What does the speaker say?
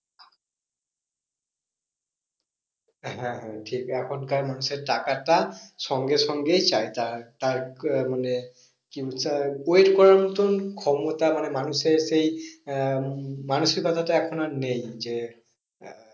হ্যাঁ হ্যাঁ ঠিক এখনকার মানুষের টাকাটা সঙ্গে সঙ্গেই চাই তার মানে wait করার মতন ক্ষমতা মানে মানুষের সেই আহ মানসিকতাটা এখন আর নেই। যে আহ